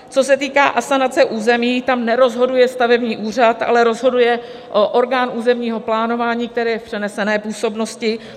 Co se týká asanace území, tam nerozhoduje stavební úřad, ale rozhoduje orgán územního plánování, který je v přenesené působnosti.